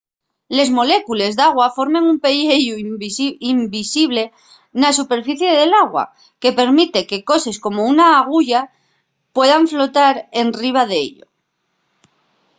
les molécules d’agua formen un pelleyu invisible na superficie del agua que permite que coses como una aguya puedan flotar enriba d’ello